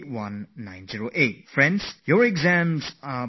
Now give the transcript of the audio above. Friends, your exams begin from day after tomorrow